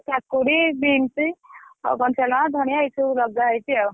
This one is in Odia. ~କା ~କୁଡି ଧନିଆ ଏଇ ସବୁ ଲଗା ହେଇଛି ଆଉ।